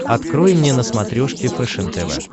открой мне на смотрешке фэшен тв